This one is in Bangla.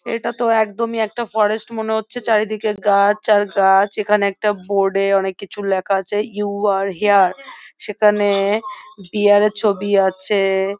এটা তো একদম এই একটা ফরেস্ট মনে হরছে চারিদিকে গাছ আর গাছ এখানে একটা বোর্ড এ অনেক কিছু লেখা আছে ইউ আর হিয়ার সেখানে বিয়ার এর ছবি রয়েছে।